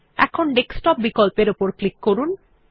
এখন ডেস্কটপ বিকল্পের উপর ক্লিক করুন